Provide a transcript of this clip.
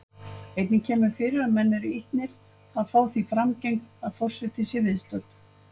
Einnig kemur fyrir að menn eru ýtnir að fá því framgengt að forseti sé viðstödd.